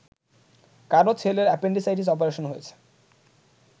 কারও ছেলের appendicitis operation হয়েছে